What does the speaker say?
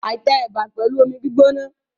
I tẹ ẹ̀bà pẹ̀lú omi gbígbóná.